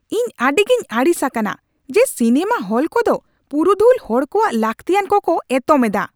ᱤᱧ ᱟᱹᱰᱤᱜᱮᱧ ᱟᱹᱲᱤᱥ ᱟᱠᱟᱱᱟ ᱡᱮ ᱥᱤᱱᱮᱢᱟ ᱦᱚᱞ ᱠᱚᱫᱚ ᱯᱩᱨᱩᱫᱷᱩᱞ ᱦᱚᱲ ᱠᱚᱣᱟᱜ ᱞᱟᱹᱠᱛᱤᱭᱟᱱ ᱠᱚᱠᱚ ᱮᱛᱚᱢ ᱮᱫᱟ ᱾